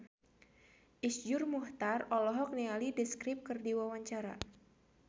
Iszur Muchtar olohok ningali The Script keur diwawancara